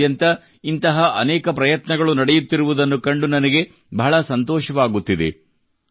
ದೇಶಾದ್ಯಂತ ಇಂತಹ ಅನೇಕ ಪ್ರಯತ್ನಗಳು ನಡೆಯುತ್ತಿರುವುದನ್ನು ಕಂಡು ನನಗೆ ಬಹಳ ಸಂತೋಷವಾಗುತ್ತಿದೆ